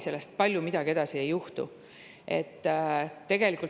Edasi palju midagi ei juhtu.